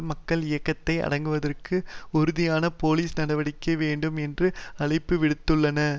மக்கள் இயக்கத்தை அடக்குவதற்கு உறுதியான போலீஸ் நடவடிக்கை வேண்டும் என்றும் அழைப்பு விடுத்துள்ளன